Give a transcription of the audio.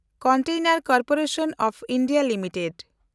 ᱠᱚᱱᱴᱮᱱᱮᱱᱰ corporation of India limited